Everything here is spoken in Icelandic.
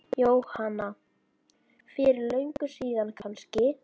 Jóhanna: Fyrir löngu síðan kannski?